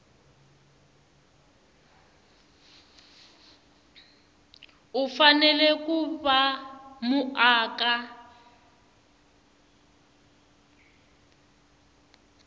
u fanele ku va muaka